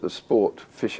fylgt